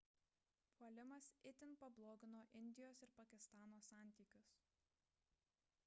puolimas itin pablogino indijos ir pakistano santykius